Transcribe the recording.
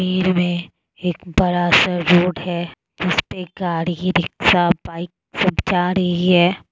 भीड़ में एक बड़ा सा रोड है जिसपे गाड़ी रिक्शा बाइक सब जा रही है।